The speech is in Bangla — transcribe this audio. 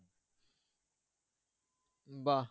বাহ